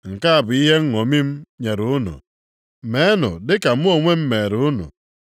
Nke a bụ ihe nṅomi m nyere unu, meenụ dị ka mụ onwe m mere unu.